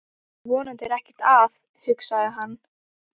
Vonandi er ekkert að, hugsaði hann.